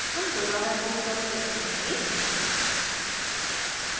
हम दोबारा git log check करेंगे